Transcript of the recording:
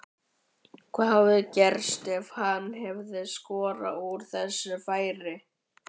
Hvað hefði gerst ef hann hefði skorað úr þessu færi?